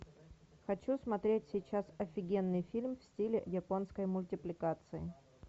хочу смотреть сейчас офигенный фильм в стиле японской мультипликации